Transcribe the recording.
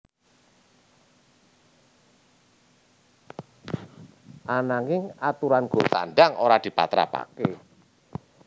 Ananging aturan gol tandang ora dipatrapaké